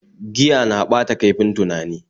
Giya na ɓata kaifin tunani